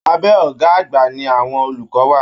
Abẹ ọgá àgbà ní àwọn olùkọ wà.